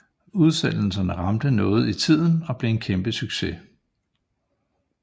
Udsendelserne ramte noget i tiden og blev en kæmpe succes